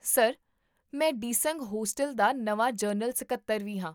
sir, ਮੈਂ ਡਿਸੰਗ hostel ਦਾ ਨਵਾਂ ਜਨਰਲ ਸਕੱਤਰ ਵੀ ਹਾਂ